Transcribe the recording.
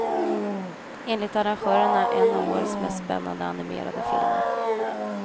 Enligt arrangörerna en av årets mest spännande animerade filmer.